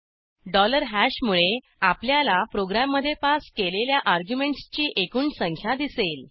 dollar हॅशमुळे आपल्याला प्रोग्रॅममधे पास केलेल्या अर्ग्युमेंटसची एकूण संख्या दिसेल